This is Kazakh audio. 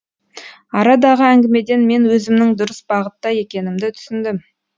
арадағы әңгімеден мен өзімнің дұрыс бағытта екенімді түсіндім